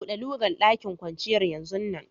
Bude lugan daƙin kwanciyar yanzun nan!